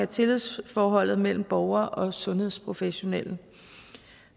tillidsforholdet mellem borgere og sundhedsprofessionelle